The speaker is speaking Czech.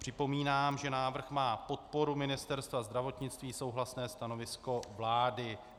Připomínám, že návrh má podporu Ministerstva zdravotnictví, souhlasné stanovisko vlády.